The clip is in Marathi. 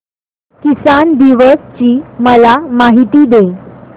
किसान दिवस ची मला माहिती दे